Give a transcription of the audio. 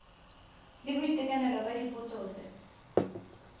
la boitekanelo la dipotso tse